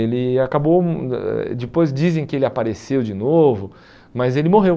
Ele acabou, hum eh depois dizem que ele apareceu de novo, mas ele morreu.